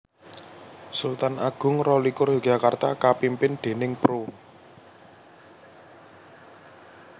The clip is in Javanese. Sultan Agung rolikur Yogyakarta kapimpin déning Pro